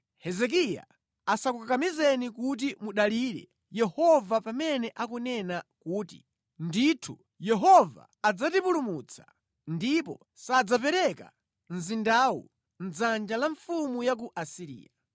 Hezekiya asakukakamizeni kudalira Yehova ndi mawu akuti, ‘Ndithu, Yehova adzatipulumutsa; ndipo sadzapereka mzindawu mʼdzanja la mfumu ya ku Asiriya.’